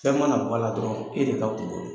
Fɛn mana bɔ ala dɔrɔn e de ka kunko don.